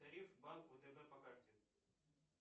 тариф банк втб по карте